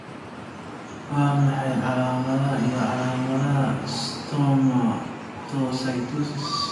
Waa maxay calaamadaha iyo calaamadaha Stomatocytosis I?